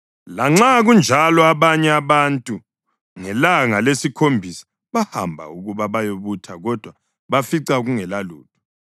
Lanxa kunjalo abanye abantu ngelanga lesikhombisa bahamba ukuba bayobutha kodwa bafica kungelalutho.